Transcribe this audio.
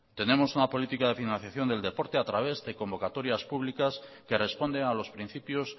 tenemos una política de financiación del deporte a través de convocatorias públicas que responden a los principios